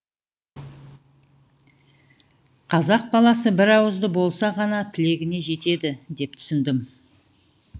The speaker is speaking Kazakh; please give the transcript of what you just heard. қазақ баласы бір ауызды болса ғана тілегіне жетеді деп түсіндім